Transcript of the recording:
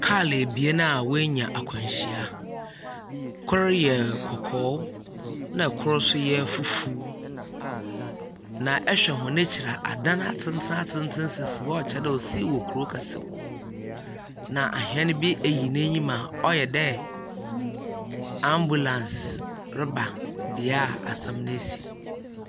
Kaa ebien a woenya akwanhyia. Kor yɛ kɔkɔɔ, ɛnna kor nso yɛ fufuw, na ɛhwɛ wɔn ekyir a, adan atentenatenten sisi hɔ a ɔkyerɛ dɛ ɔsii wɔ kuro kɛsim, na ahɛn bi eyi n'enim a ɔyɛ dɛ ambulance reba deɛ asɛm no esi.